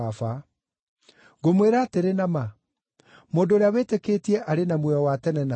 Ngũmwĩra atĩrĩ na ma, mũndũ ũrĩa wĩtĩkĩtie arĩ na muoyo wa tene na tene.